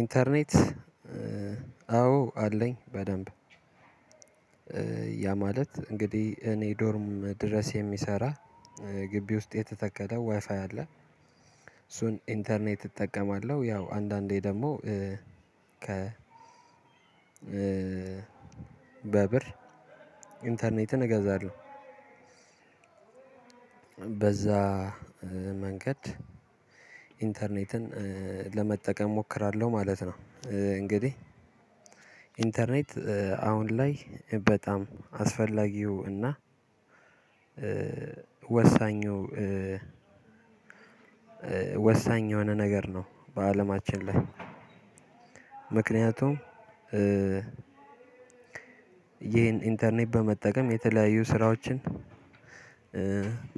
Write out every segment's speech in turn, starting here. ኢንተርኔት አዎ አለኝ። በደንብ ያ ማለት እንግዲህ እኔ ዶርም ድረስ የሚሰራ ግቢ ውስጥ የተተከለ ዋይፋይ አለ እሱን ኢንተርኔት እጠቀማለሁ። ያው አንዳንዴ ደግሞ ከ በብር ኢንተርኔትን እገዛለሁ። በዛ መንገድ ኢንተርኔትን ለመጠቀም እሞክራለሁ ማለት ነው። እንግዲህ ኢንተርኔት አሁን ላይ በጣም አስፈላጊው እና ወሳኙ ወሳኝ የሆነ ነገር ነው። በአለማችን ላይ ምክንያቱም ይሄን ኢንተርኔት በመጠቀም የተለያዩ ስራዎችን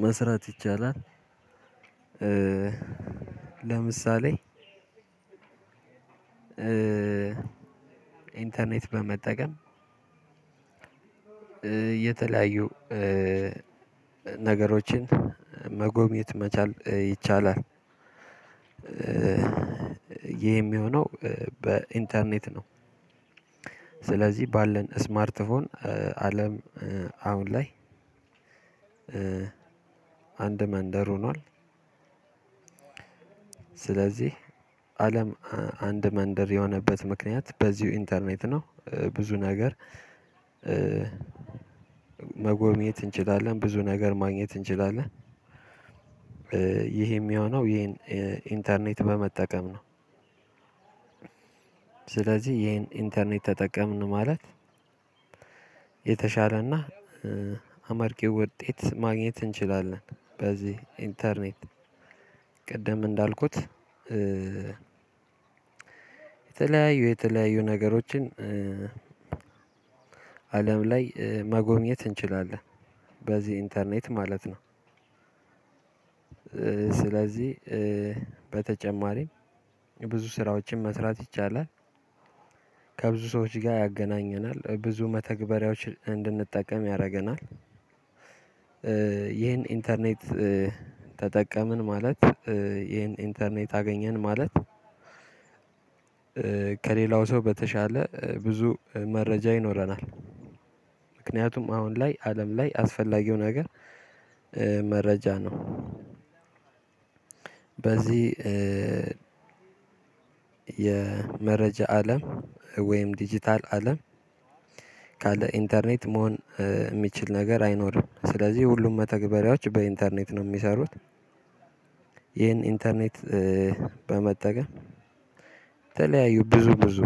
መስራት ይቻላል። ለምሳሌ ኢንተርኔት በመጠቀም የተለያዩ ነገሮችን መጎብኘት መቻል ይቻላል። ይህ የሚሆነው በኢንተርኔት ነው። ስለዚህ ባለን ስማርትፎን አለም አሁን ላይ አንድ መንደር ሆኗል። ስለዚህ አለም አንድ መንደር የሆነበት ምክንያት በዚሁ ኢንተርኔት ነው። ብዙ ነገር መጎብኘት እንችላለን ብዙ ነገር ማግኘት እንችላለን። ይሄ የሚሆነው ይሄን ኢንተርኔት በመጠቀም ነው። ስለዚህ ይሄን ኢንተርኔት ተጠቀምን ማለት የተሻለና አማርቂ ውጤት ማግኘት እንችላለን። በዚህ ኢንተርኔት ቅድም እንዳልኩት የተለያዩ የተለያዩ ነገሮችን አለም ላይ መጎኘት እንችላለን በዚህ ኢንተርኔት ማለት ነው። ስለዚህ በተጨማሪም ብዙ ስራዎችን መስራት ይቻላል። ከብዙ ሰዎች ጋር ያገናኘናል ብዙ መተግበሪያዎች እንድንጠቀም ያደርገናል። ይህን ኢንተርኔት ተጠቀምን ማለት ይህን ኢንተርኔት አገኘን ማለት። ከሌላው ሰው በተሻለ ብዙ መረጃ ይኖረናል። ምክንያቱም አሁን ላይ አለም ላይ አስፈላጊው ነገር መረጃ ነው። በዚህ የመረጃ አለም ወይም ዲጂታል አለም ካለ ኢንተርኔት መሆን ሚችል ነገር አይኖርም ስለዚህ ሁሉም መተግበሪያዎች በኢንተርኔት ነው ሚሰሩት። ይሄን ኢንተርኔት በመጠቀም ተለያዩ ብዙ ብዙ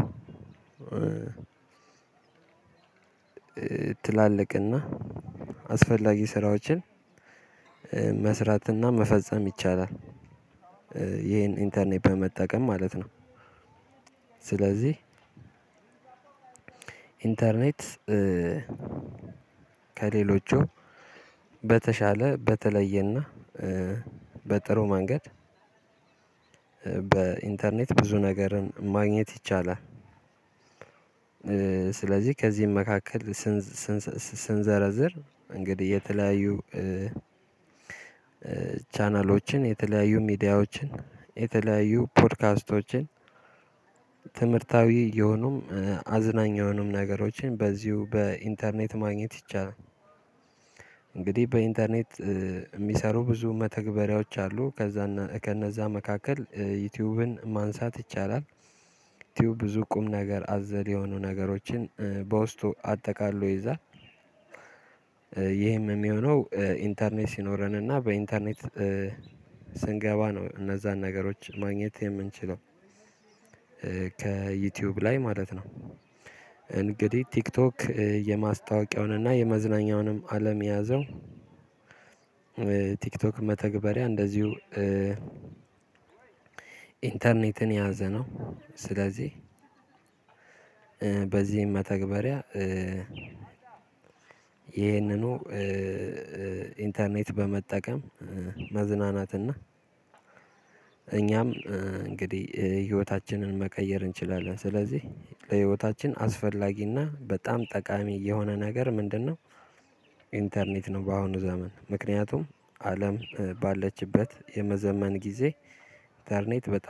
ትላልቅና አስፈላጊ ስራዎችን መስራትና መፈጸም ይቻላል። ይሄን ኢንተርኔት በመጠቀም ማለት ነው። ስለዚህ ኢንተርኔት ከሌሎቹ በተሻለ በተለየና በጥሩ መንገድ በኢንተርኔት ብዙ ነገርን ማግኘት ይቻላል። ስለዚህ ከዚህም መካከል ስንዘርዝር እንግዲህ የተለያዩ ቻናሎችን የተለያዩ ሚዲያዎችን የተለያዩ ፖድካስቶችን ትምህርታዊ የሆኑም አዝናኝ የሆኑም ነገሮችን በዚሁ በኢንተርኔት ማግኘት ይቻላል። እንግዲህ በኢንተርኔት ሚሰሩ ብዙ መተግበሪያዎች አሉ ከዛ ከነዛ መካከል ዩቲዩብን ማንሳት ይቻላል። ቲዩብ ብዙ ቁም ነገር አዘል የሆኑ ነገሮችን በውስጡ አጠቃሎ ይይዛል። ይሄም የሚሆነው ኢንተርኔት ሲኖረን እና በኢንተርኔት ስንገባ ነው እነዛን ነገሮች ማግኘት የምንችለው። ከዩቲዩብ ላይ ማለት ነው። እንግዲህ ቲክቶክ የማስታወቂያውን እና የመዝናኛውንም አለም የያዘው። ቲክቶክ መተግበሪያ እንደዚሁ ኢንተርኔትን የያዘ ነው። ስለዚህ በዚህም መተግበሪያ ይህንኑ ኢንተርኔት በመጠቀም መዝናናትና እኛም እንግዲህ ህይወታችንን መቀየር እንችላለን። ስለዚህ ለህይወታችን አስፈላጊና በጣም ጠቃሚ የሆነ ነገር ምንድነው? ኢንተርኔት ነው። በአሁኑ ዘመን ምክንያቱም አለም ባለችበት የመዘመን ጊዜ ኢተርኔት በጣም